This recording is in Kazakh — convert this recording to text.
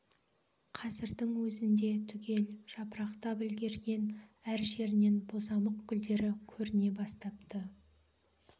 қазірдің өзінде түгел жапырақтап үлгірген әр жерінен бозамық гүлдері көріне бастапты